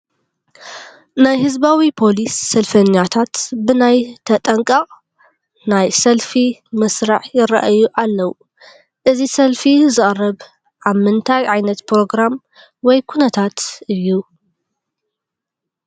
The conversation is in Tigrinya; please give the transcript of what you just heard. ናይ ህዝባዊ ፖሊስ ሰልፈኛታት ብናይ ተጠንቀቕ ናይ ሰልፊ መስርዕ ይርአዩ ኣለዉ፡፡ እዚ ሰልፊ ዝቐርብ ኣብ ምንታይ ዓይነት ፕሮግራም ወይ ኩነታት እዩ?